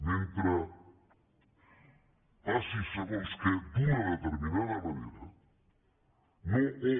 mentre passi segons què d’una determinada manera no o